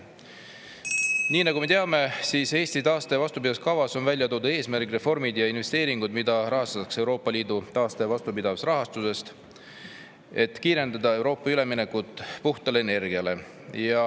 Nii nagu me teame, on Eesti taaste‑ ja vastupidavuskavas välja toodud eesmärgid ning reformid ja investeeringud, mida rahastatakse Euroopa Liidu taaste‑ ja vastupidavusrahastust, et kiirendada Euroopa üleminekut puhtale energiale.